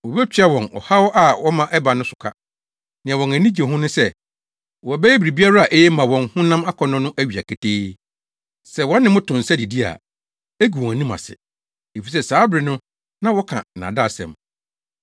Wobetua wɔn ɔhaw a wɔma ɛbaa no so ka. Nea wɔn ani gye ho ne sɛ wɔbɛyɛ biribiara a eye ma wɔn honam akɔnnɔ no awia ketee. Sɛ wɔne mo to nsa didi a, egu wɔn anim ase. Efisɛ saa bere no na wɔka nnaadaasɛm.